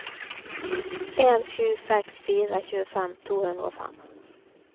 en sju seks fire tjuefem to hundre og fem